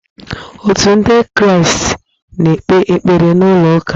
Otu ndị kraastị na-ekpe ekpere n'ụlọ ụka